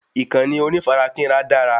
Ìkànnì onífarakínra dara